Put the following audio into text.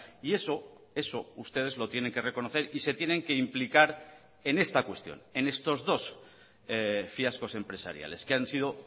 y eso eso ustedes lo tienen que reconocer y se tienen que implicar en esta cuestión en estos dos fiascos empresariales que han sido